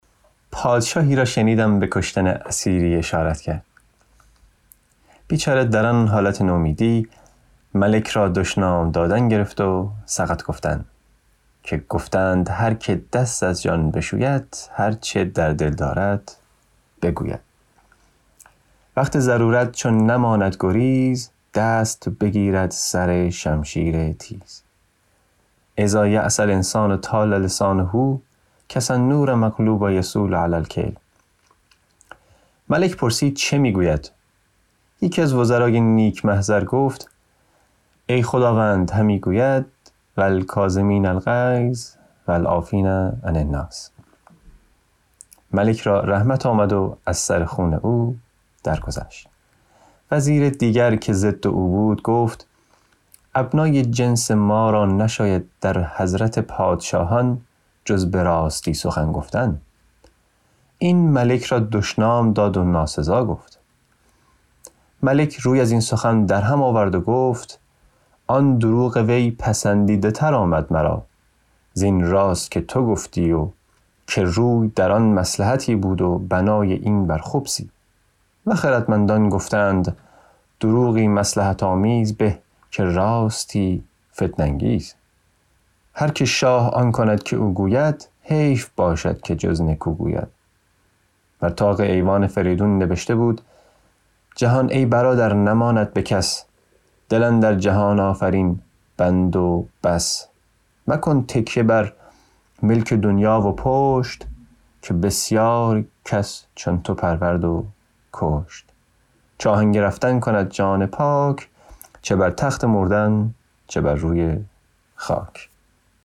پادشاهی را شنیدم به کشتن اسیری اشارت کرد بیچاره در آن حالت نومیدی ملک را دشنام دادن گرفت و سقط گفتن که گفته اند هر که دست از جان بشوید هر چه در دل دارد بگوید وقت ضرورت چو نماند گریز دست بگیرد سر شمشیر تیز إذا ییس الإنسان طال لسانه کسنور مغلوب یصول علی الکلب ملک پرسید چه می گوید یکی از وزرای نیک محضر گفت ای خداوند همی گوید و الکاظمین الغیظ و العافین عن الناس ملک را رحمت آمد و از سر خون او درگذشت وزیر دیگر که ضد او بود گفت ابنای جنس ما را نشاید در حضرت پادشاهان جز به راستی سخن گفتن این ملک را دشنام داد و ناسزا گفت ملک روی از این سخن در هم آورد و گفت آن دروغ وی پسندیده تر آمد مرا زین راست که تو گفتی که روی آن در مصلحتی بود و بنای این بر خبثی و خردمندان گفته اند دروغی مصلحت آمیز به که راستی فتنه انگیز هر که شاه آن کند که او گوید حیف باشد که جز نکو گوید بر طاق ایوان فریدون نبشته بود جهان ای برادر نماند به کس دل اندر جهان آفرین بند و بس مکن تکیه بر ملک دنیا و پشت که بسیار کس چون تو پرورد و کشت چو آهنگ رفتن کند جان پاک چه بر تخت مردن چه بر روی خاک